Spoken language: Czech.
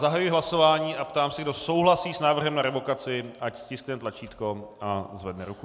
Zahajuji hlasování a ptám se, kdo souhlasí s návrhem na revokaci, ať stiskne tlačítko a zvedne ruku.